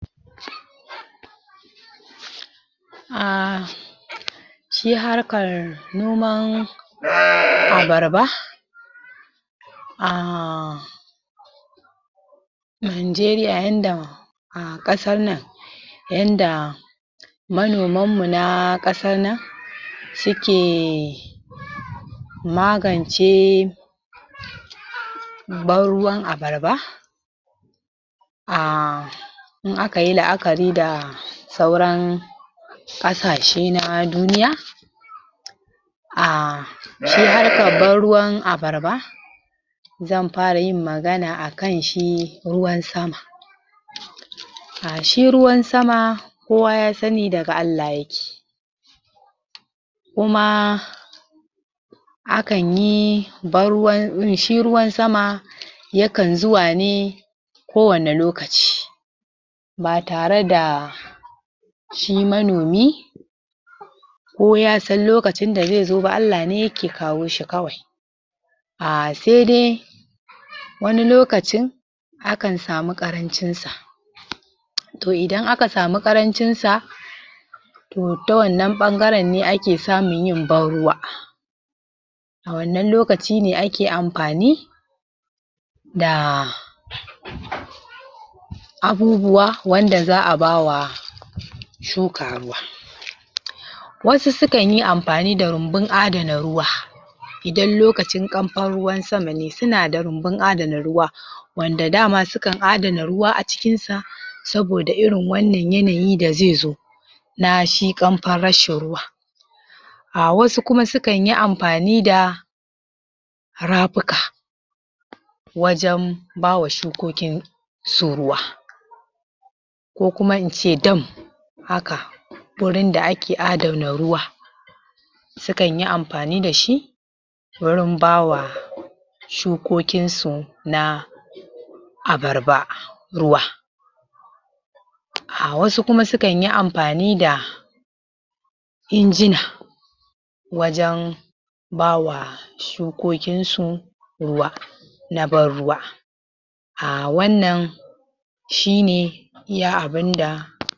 Aaa shi harkar noman abarba aaah! a Najeriya yanda a ƙasar nan yanda manomanmu na ƙasar nan suke magance banruwan abarba aaa in aka yi la'akari da sauran ƙasashe na duniya aaa shi harkar banruwan abarba zan fara yin magana a kan shi ruwan sama shi ruwan sama kowa ya sani daga Allah yake kuma akan yi banruwan shi ruwan sama ya kan zuwa ne kowane lokaci ba tare da shi manomi ko ya san lokacin da zai zo ba, Allah ne yake kawo shi kawai aaa sai dai wani lokacin akan samu ƙarancin sa to idan aka samu ƙarancin sa to ta wannan ɓangaren ne ake samun yin banruwa a wannan lokaci ne ake amfani da abubuwa wanda za a ba wa shuka ruwa wasu su kan yi amfani da rumbun adana ruwa idan lokacin ƙamfan ruwan sama ne suna da rumbun adana ruwa wanda da ma sukan adana ruwa a cikin sa saboda irin wannan yanayi da zai zo na shi ƙamfan rashin ruwa a wasu kuma sukan yi amfani da rafuka wajen ba wa shukokinsu ruwa su ruwa ko kuma in ce dam haka gurin da ake adana ruwa sukan yi amfani da shi wurin ba wa shukokinsu na abarba ruwa a wasu kuma sukan yu amfani da injina wajen ba wa shukokinsu ruwa na banruwa a wannan shi ne iya abin da